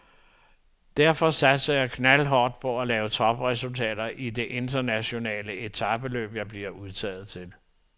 Derfor satser jeg knaldhårdt på at lave topresultater i de internationale etapeløb, jeg bliver udtaget til.